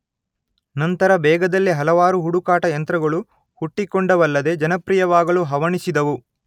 ನಂತರ ಬೇಗದಲ್ಲೇ ಹಲವಾರು ಹುಡುಕಾಟ ಯಂತ್ರಗಳು ಹುಟ್ಟಿಕೊಂಡವಲ್ಲದೆ ಜನಪ್ರಿಯವಾಗಲು ಹವಣಿಸಿದವು.